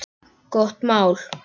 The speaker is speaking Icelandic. Gott mál.